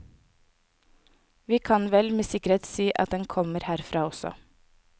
Vi kan vel med sikkerhet si at den kommer herfra også.